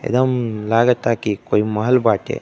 एकदम लागता की कोई महल बाटे।